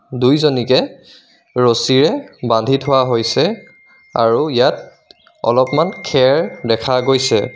দুইজনিকে ৰছীৰে বান্ধি থোৱা হৈছে আৰু ইয়াত অলপমান খেৰ দেখা গৈছে.